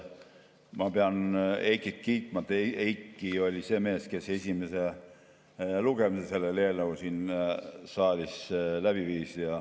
Ma pean Heikit kiitma: Heiki oli see mees, kes selle eelnõu esimese lugemise siin saalis läbi viis.